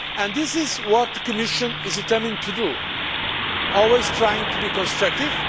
This is what the Commission is determined to do while always trying to be constructive.